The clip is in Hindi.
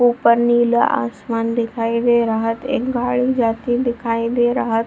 ऊपर नीला आसमान दिखाई दे रहत एक गाड़ी जाती दिखाई दे रहत।